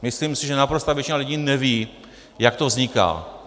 Myslím si, že naprostá většina lidí neví, jak to vzniká.